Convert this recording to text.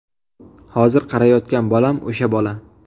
Hozir qarayotgan bolam o‘sha bola.